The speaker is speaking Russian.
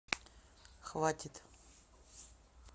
хватит